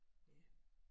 Ja